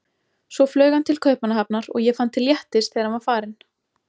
Svo flaug hann til Kaupmannahafnar og ég fann til léttis þegar hann var farinn.